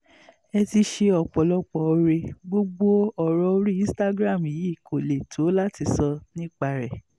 ẹ ti ṣe ọ̀pọ̀lọpọ̀ oore gbogbo ọ̀rọ̀ orí instagram yìí kó lè tó láti sọ nípa rẹ̀